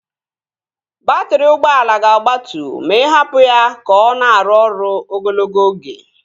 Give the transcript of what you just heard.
Baatrị ụgbọala ga-agbatu ma ị hapụ ya ka ọ na-arụ ọrụ ogologo oge